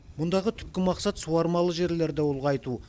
мұндағы түпкі мақсат суармалы жерлерді ұлғайту